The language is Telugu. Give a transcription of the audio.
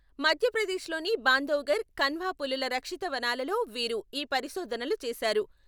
మధ్యప్రదేశ్లోని బాంధవ్గర్, కన్హా పులుల రక్షిత వనాలలో వీరు ఈ పరిశోధనలు చేశారు.